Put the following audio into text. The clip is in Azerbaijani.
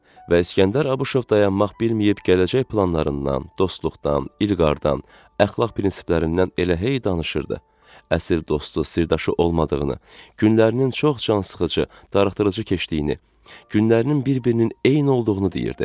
Və İskəndər Abuşov dayanmaq bilməyib gələcək planlarından, dostluqdan, İlqardan, əxlaq prinsiplərindən elə hey danışırdı, əsil dostu, sirdaşı olmadığını, günlərinin çox cansıxıcı, darıxdırıcı keçdiyini, günlərinin bir-birinin eyni olduğunu deyirdi.